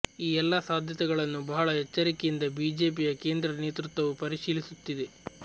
ಈ ಎಲ್ಲ ಸಾಧ್ಯತೆಗಳನ್ನು ಬಹಳ ಎಚ್ಚರಿಕೆಯಿಂದ ಬಿಜೆಪಿಯ ಕೇಂದ್ರ ನೇತೃತ್ವವು ಪರಿಶೀಲಿಸುತ್ತಿದೆ